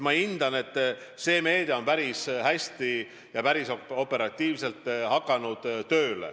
Ma hindan, et see meede on päris hästi, päris operatiivselt tööle hakanud.